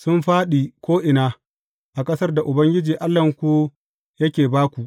sun fāɗi ko’ina a ƙasar da Ubangiji Allahnku yake ba ku.